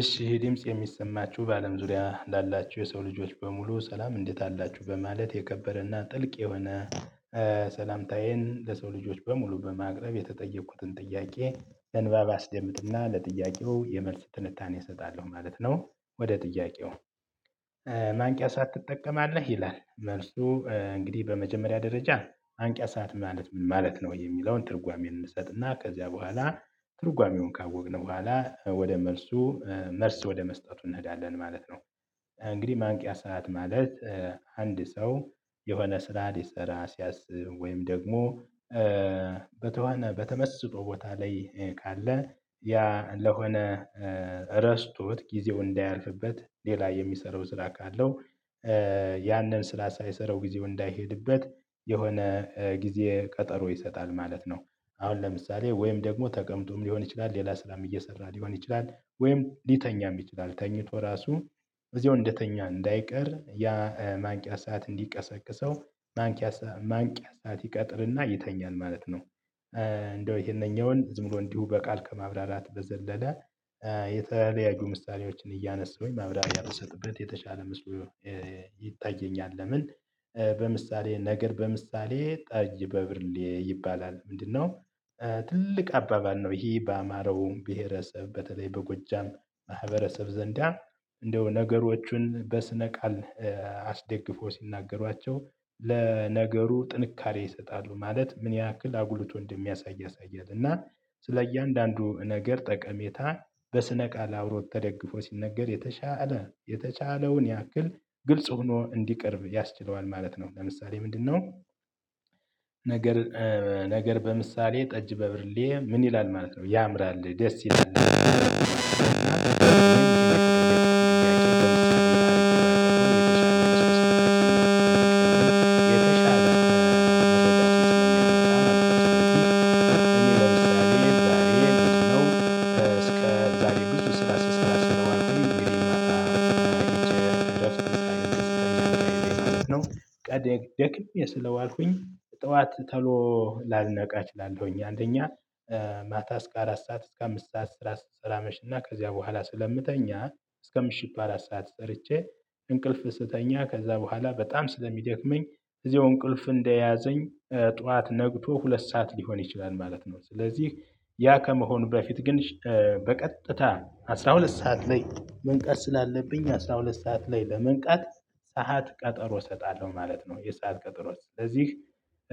እሺ ይሄ ድምጽ የሚሰማችሁ በአለም ዙሪያ ላላችሁ የሰው ልጆች በሙሉ ሰላም እንዴት አላችሁ በማለት የከበረና ጥልቅ የሆነ ሰላምታዬን ለሰው ልጆች በሙሉ በማቅረብ የተጠየቅኩትን ጥያቄ በንባብ አስደምጥና ለጥያቄው የመልስ ትንታኔ እሰጣለሁ ማለት ነው። ወደ ጥያቄው ሰዓት ትጠቀማለህ? ይላል መልሱ እንግዲህ በመጀመሪያ ደረጃ ማንቂያ ሰዓት ማለት ምን ማለት ነው የሚለውን ትርጓሜ እንሰጥና ከዚያ በኋላ ትርጓሜውን ካወቅን በኋላ ወደ መልሱ መልስ ወደ መስጠቱ እንሄዳለን ማለት ነው። እንግዲህ ማንቂያ ሰዓት ማለት? አንድ ሰው የሆነ ስራ ሊሰራ ሲያስብ ወይም ደግሞ በተመስጦ ቦታ ላይ ካለ ያ ለሆነ ረስቶት ጊዜው እንዳያልፍበት ሌላ የሚሰራው ስራ ካለው ያንን ስራ ሳይሰራው ጊዜው እንዳይሄድበት የሆነ ጊዜ ቀጠሮ ይሰጣል ማለት ነው። አሁን ለምሳሌ ወይም ደግሞ ተቀምጦም ሊሆን ይችላል ሌላ ስራም እየሰራ ሊሆን ይችላል ወይም ሊተኛም ይችላል ተኝቶ ራሱ እዚሁ እንደተኛ እንዳይቀር ያ ማንቂያ ሰዓት እንዲቀሰቅሰው ማንቂያ ሰዓት ይቀጥርና ይተኛል ማለት ነው። እንዳው ይሄንኛውን ዝም ብሎ እንዲሁ በቃል ከማብራራት በዘለለ የተለያዩ ምሳሌዎችን እያነሳሁኝ ማብራራያ ብሰጥበት የተሻለ መስሎ ይታየኛል። ለምን? በምሳሌ ነገር በምሳሌ ጠጅ በብርሌ ይባላል ምንድነው? ትልቅ አባባል ነው ይሄ በአማረው ብሄረሰብ በተለይ በጎጃም ማህበረሰብ ዘንድ እንድያው ነገሮቹን በስነ ቃል አስደግፎ ሲናገሯቸው ለነገሩ ጥንካሬ ይሰጣሉ ማለት ምን ያህል አጉልቶ እንደሚያሳይ አሳያለሁ እና ስለእያንዳንዱ እያንዳንዱ ነገር ጠቀሜታ በስነ ቃል አብሮት ተደግፎ ሲነገር የተሻለ የተቻለውን ያክል ግልጽ ሆኖ እንዲቀርብ ያስችለዋል ማለት ነው። ለምሳሌ ምንድነው? ነገር በምሳሌ ጠጅ በብርሌ ምን ይላል ማለት ነው። ያምራል ደስ ይላል የተሻለ ነው የተሻለ ነው የተሻለ ነው እስከ ዛሬ ብዙ ስራ ስለማልችል። ይሄ ማታ እንደያውም ቀን ደክሜ ስለዋልኩኝ ጠዋት ተሎ ላልነቃ እችላለሁኝ አንደኛ። ማታ እስከ አራት ሰዓት እስከ አምስት ሰዓት ስራ ስሰራ አመሽና ከዚያ በኋላ ስለምተኛ እስከ ምሽቱ አራት ሰዓት ሰርቼ እንቅልፍ ስተኛ ከዛ በኋላ በጣም ስለሚደክመኝ እዚሁ እንቅልፍ እንደያዘኝ ጠዋት ነግቶ ሁለት ሰዓት ሊሆን ይችላል ማለት ነው። ስለዚህ ያ ከመሆኑ በፊት ግን በቀጥታ አስራ ሁለት ሰዓት ላይ መንቃት ስላለብኝ አስራ ሁለት ሰዓት ላይ በመንቃት ሰዓት ቀጠሮ እሰጣለሁ ማለት ነው። የሰዓት ቀጠሮ ስለዚህ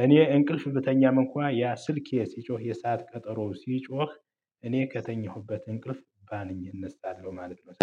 እኔ እንቅልፍ ብተኛም እንኳን ያ ስልኬ ሲጮህ የሰዓት ቀጠሮ ሲጮህ እኔ ከተኛሁበት እንቅልፍ ባንኘ እንሳለውት ማለት ነው።